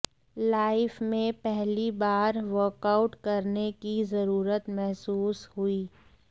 life में पहली बार वर्कआउट करने की जरूरत महसूस हुई